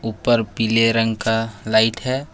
ऊपर पीले रंग का लाइट है।